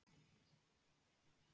Uppruninn virðist því norrænn.